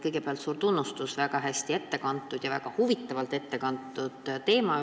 Kõigepealt suur tunnustus väga hea ettekande eest – väga huvitavalt ette kantud!